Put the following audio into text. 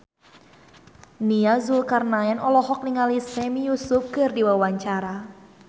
Nia Zulkarnaen olohok ningali Sami Yusuf keur diwawancara